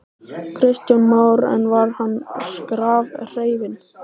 Kristján Már: En var hann skrafhreifinn?